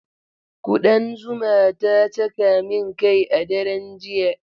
Ƙudan zuma ta caka min kai a daren jiya.